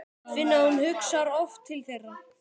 Finna að hún hugsar oft til þeirra.